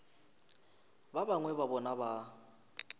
ba bangwe ba bona ba